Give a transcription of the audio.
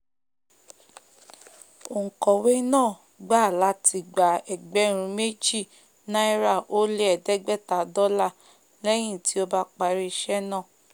ònkọ̀wé náà gbà láti gba ẹgbẹ̀rún méjì náírà ó lé ẹ̀ẹ́dégbẹ̀tá dọ́là léyìn tí ó bá parí ísé náà